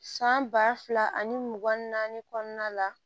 San ba fila ani mugan ni naani kɔnɔna la